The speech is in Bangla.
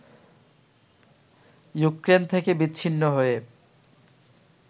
ইউক্রেন থেকে বিচ্ছিন্ন হয়ে